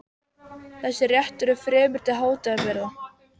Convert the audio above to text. Þessi réttur er fremur til hátíðabrigða.